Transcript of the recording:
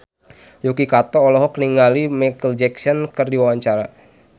Yuki Kato olohok ningali Micheal Jackson keur diwawancara